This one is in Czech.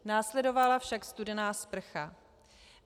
Následovala však studená sprcha.